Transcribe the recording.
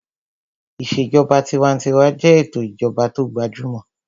Ìṣèjọba tinwatinwa jẹ́ ètò ìjọba tó gbajúmọ̀